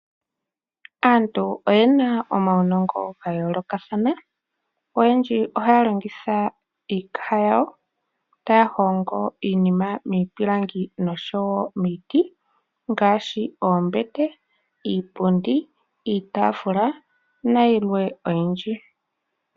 Aantu oyena omaunongo ga yoolokathana oyendji ohaya longitha iikaha yawo taya hongo iinima miipilangi oshowo miiti ngaashi oombete ,iipundi ,iitafula nayilwe oyindji.